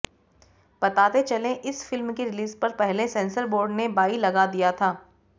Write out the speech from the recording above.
बताते चले इस फिल्म की रिलीज पर पहले सेंसर बोर्ड ने बाई लगा दिया था